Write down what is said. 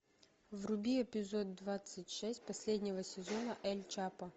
вруби эпизод двадцать шесть последнего сезона эль чапо